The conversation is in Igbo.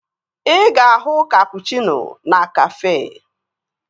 Ị ga-ahụ kapụchịno na Kafé